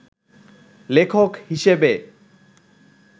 লেখক হিসেবে